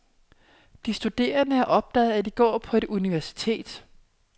De studerende har opdaget, at de går på etuniversitet.